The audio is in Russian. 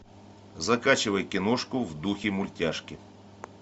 закачивай киношку в духе мультяшки